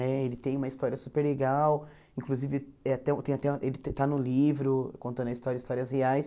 Né ele tem uma história super legal, inclusive eh tem um tem até um ele está no livro contando a história, histórias reais.